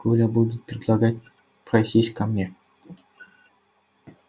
коля будут предлагать просись ко мне